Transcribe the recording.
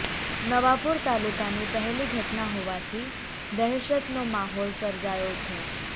નવાપુર તાલુકાની પહેલી ઘટના હોવાથી દહેશતનો માહોલ સર્જાયો છે